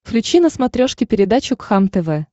включи на смотрешке передачу кхлм тв